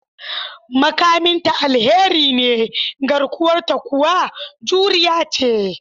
Makamin ta alheri ne, garkuwarta kuwa juriya ce.